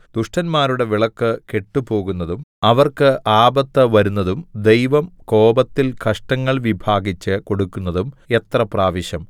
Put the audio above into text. ദുഷ്ടന്മാരുടെ വിളക്ക് കെട്ടുപോകുന്നതും അവർക്ക് ആപത്ത് വരുന്നതും ദൈവം കോപത്തിൽ കഷ്ടങ്ങൾ വിഭാഗിച്ച് കൊടുക്കുന്നതും എത്ര പ്രാവശ്യം